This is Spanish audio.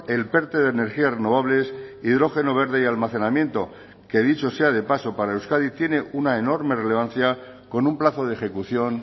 el perte de energías renovables hidrógeno verde y almacenamiento que dicho sea de paso para euskadi tiene una enorme relevancia con un plazo de ejecución